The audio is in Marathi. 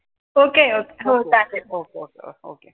ok